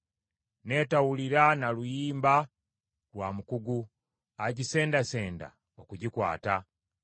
n’etawulira na luyimba lwa mukugu agisendasenda okugikwata.